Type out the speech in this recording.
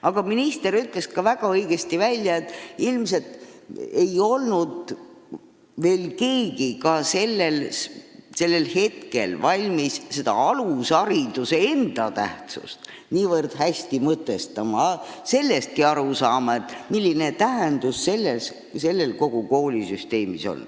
Aga minister ütles ka väga õigesti välja selle, et ilmselt ei olnud keegi siis veel valmis alushariduse tähtsust niivõrd hästi mõtestama, aru saama, milline tähendus on sellel kogu koolisüsteemis.